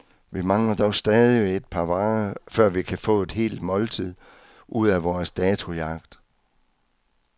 Vi mangler dog stadig et par varer, før vi kan få et helt måltid ud af vores datojagt.